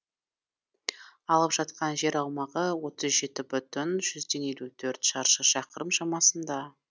алып жатқан жер аумағы отыз жеті бүтін жүзден елу төрт шаршы шақырым шамасында